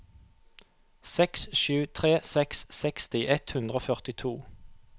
seks sju tre seks seksti ett hundre og førtito